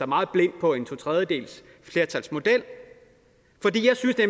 meget blind på en totredjedelsflertalsmodel